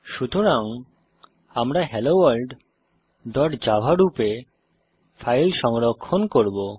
সুতরাং আমরা hello world dot java রূপে ফাইল সংরক্ষণ করব